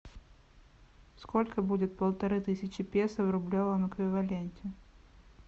сколько будет полторы тысячи песо в рублевом эквиваленте